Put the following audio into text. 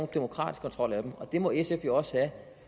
demokratisk kontrol af dem og det må sf jo også have